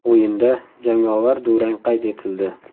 O‘yinda jangovar durang qayd etildi.